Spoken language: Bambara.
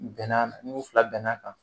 Bɛnna na n'u fila bɛnna kan